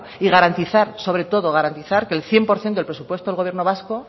y garantizar sobre todo garantizar que el cien por ciento del presupuesto del gobierno vasco